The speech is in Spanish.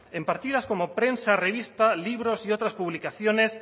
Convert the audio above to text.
en partidas como prensa revista libros y otras publicaciones